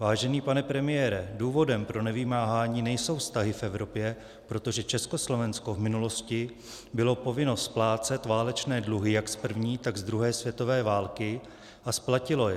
Vážený pane premiére, důvodem pro nevymáhání nejsou vztahy v Evropě, protože Československo v minulosti bylo povinno splácet válečné dluhy jak z první, tak z druhé světové války, a splatilo je.